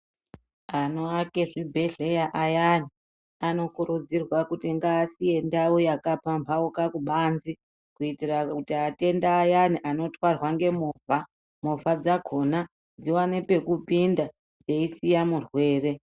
Anoake zvibhedhleya ayani anokurudzirwa kuti ngaasiye ndau yakapambauka kubanze kuitira kuti atenda ayani anotwarwa ngemovha movha dzakona dzione pekupinda dzeyisiya murwere